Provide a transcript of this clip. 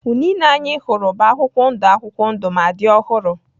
Unine anyị hụrụ bụ akwụkwọ ndụ akwụkwọ ndụ ma dị ọhụrụ.